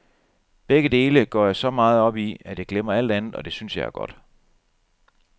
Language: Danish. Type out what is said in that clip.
Begge dele går jeg så meget op i, at jeg glemmer alt andet, og det synes jeg er godt.